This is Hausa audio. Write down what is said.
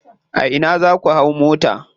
A ina za ku hau mota.